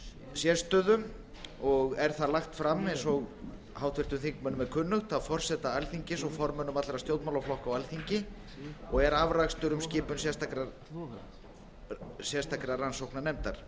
sérstöðu en það er lagt fram eins og háttvirtum þingmönnum er kunnugt af forseta alþingis og formönnum allra stjórnmálaflokka á alþingi og er afrakstur um skipun sérstakrar rannsóknarnefndar